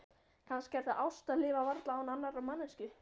Kannski er það ást að lifa varla án annarrar manneskju.